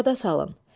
Yada salın.